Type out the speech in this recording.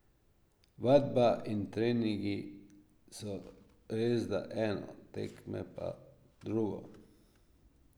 Vadba in treningi so resda eno, tekme pa drugo.